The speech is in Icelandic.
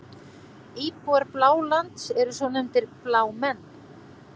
Íbúar Blálands eru svo nefndir Blámenn.